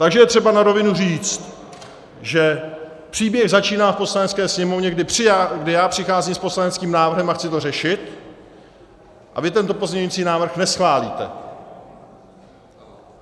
Takže je třeba na rovinu říci, že příběh začíná v Poslanecké sněmovně, kdy já přicházím s poslaneckým návrhem a chci to řešit, a vy tento pozměňující návrh neschválíte.